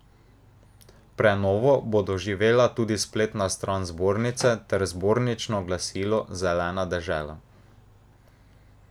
Prenovo bo doživela tudi spletna stran zbornice ter zbornično glasilo Zelena dežela.